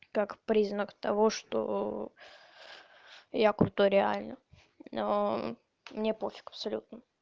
как признак того что я крутой реально мне пофиг абсолют